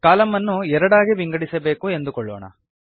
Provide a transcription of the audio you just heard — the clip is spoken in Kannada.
ಕಾಲಂ ಅನ್ನು ಎರಡಾಗಿ ವಿಂಗಡಿಸಬೇಕು ಎಂದುಕೊಳ್ಳೋಣ